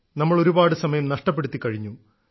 നമ്മൾ ഒരുപാട് സമയം നഷ്ടപ്പെടുത്തിക്കഴിഞ്ഞു